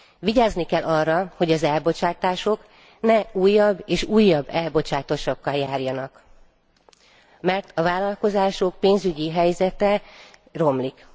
Vigyázni kell arra, hogy az elbocsátások ne újabb és újabb elbocsátásokkal járjanak, mert a vállalkozások pénzügyi helyzete romlik.